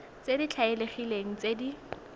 tse di tlwaelegileng tse di